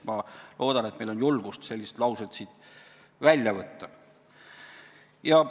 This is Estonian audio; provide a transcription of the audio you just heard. Ma loodan, et meil on julgust sellised laused siit välja võtta.